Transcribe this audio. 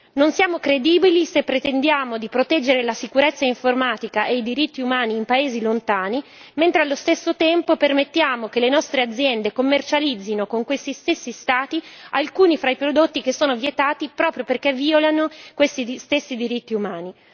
Non siamo credibili se pretendiamo di proteggere la sicurezza informatica e i diritti umani in paesi lontani, mentre allo stesso tempo permettiamo che le nostre aziende commercializzino con questi stessi Stati alcuni fra i prodotti che sono vietati proprio perché violano questi stessi diritti umani.